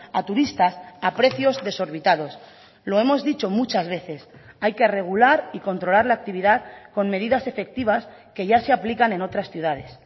a turistas a precios desorbitados lo hemos dicho muchas veces hay que regular y controlar la actividad con medidas efectivas que ya se aplican en otras ciudades